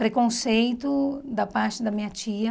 Preconceito da parte da minha tia.